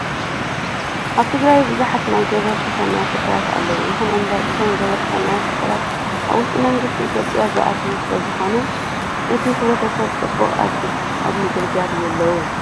ኣብ ትግራይ ብዙሓት ናይ ገበርቲ ሰናይ ትካላት ኣለው። ይኹን እምበር እቶም ገበርቲ ሰናይ ትካላት ኣብ ትሕቲ መንግስቲ ኢትዮጵያ ዝኣተው ስለዝኾኑ ነቲ ሕብረሰተብ ፅሙቅ ኣብ ምግልጋል የለውን።